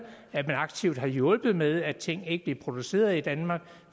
at man aktivt har hjulpet med at ting ikke bliver produceret i danmark